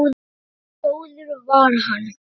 Svo góður var hann.